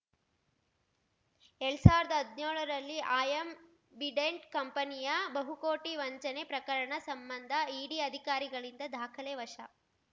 ಎಲ್ಡ್ ಸಾವರ್ದಾ ಹದ್ನ್ಯೋಳರಲ್ಲಿ ಆಯಂಬಿಡೆಂಟ್‌ ಕಂಪನಿಯ ಬಹುಕೋಟಿ ವಂಚನೆ ಪ್ರಕರಣ ಸಂಬಂಧ ಇಡಿ ಅಧಿಕಾರಿಗಳಿಂದ ದಾಖಲೆ ವಶ